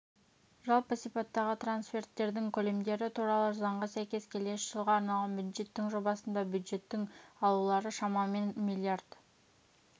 жалпы сипаттағы трансферттердің көлемдері туралы заңға сәйкес келесі жылға арналған бюджеттің жобасында бюджеттің алулары шамамен миллиард